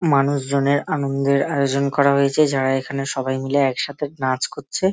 মানুষ জনের আনন্দের আয়োজন করা হয়েছে। যারা এখানে সবাই মিলে একসাথে নাচ করছে।